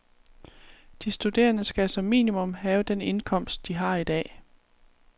De studerende skal som minimum have den indkomst, de har i dag.